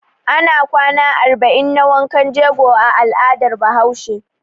Ana kwana arba'in na wankan jego a al'adar Bahaushe.